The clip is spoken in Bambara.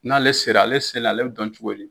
N'ale sera ale sela ale bɛ dɔn cogo di?